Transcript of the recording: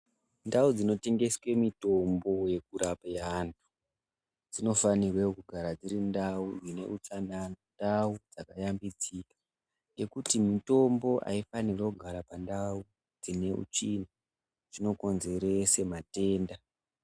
Ndau dzinotengeswe mutombo yekurape anhu dzinofanirwe kugara dziri ndau dzine utsanana ndau dzakayambidzika ngekuti mitombo aifanirwi kugara pandau dzine utsvina zvinokonzerese matenda.